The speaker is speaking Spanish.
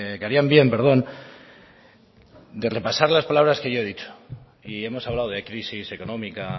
que harían bien perdón de repasar las palabras que yo he dicho y hemos hablado de crisis económica